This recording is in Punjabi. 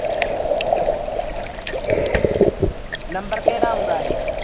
ਨੰਬਰ ਕਿਹੜਾ ਆਉਂਦਾ ਇਹ